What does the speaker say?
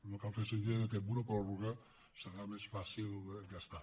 no cal fer·se idea que amb una pròrroga serà més fàcil gastar